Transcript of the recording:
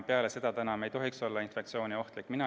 Peale seda ei tohiks inimene infektsiooniohtlik enam olla.